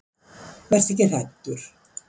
Vertu ekki hræddur.